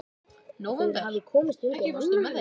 Nóvember, ekki fórstu með þeim?